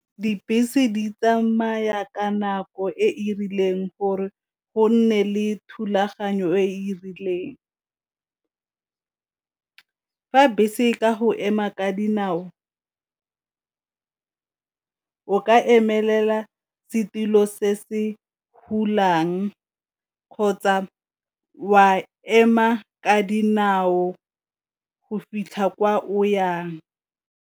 Dibese di tsamaya ka nako e e rileng gore go nne le thulaganyo e e rileng, fa bese e ka go ema ka dinao ka emelela setilo se se kgotsa wa ema ka dinao go fitlha kwa o yang.